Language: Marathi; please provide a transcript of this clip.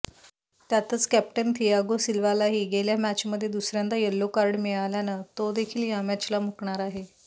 त्यातच कॅप्टन थियागो सिल्वालाही गेल्या मॅचमध्ये दुसऱ्यांदा यलो कार्ड मिळाल्यानं तोदेखील या मॅचला मुकणार आहे